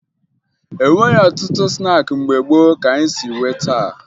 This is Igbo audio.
E nweghi ọtụtụ snaakị mgbe gboo ka anyị si nwee taa